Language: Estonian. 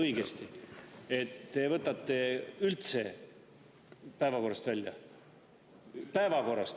… õigesti aru, et te võtate üldse päevakorrast välja?